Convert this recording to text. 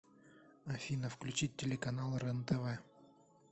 афина включить телеканал рен тв